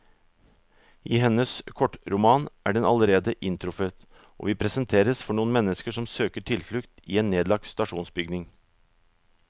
I hennes kortroman er den allerede inntruffet, og vi presenteres for noen mennesker som søker tilflukt i en nedlagt stasjonsbygning.